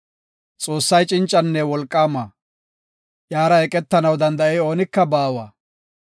Xoossay cincanne wolqaama; iyara eqetanaw danda7ey oonika baawa.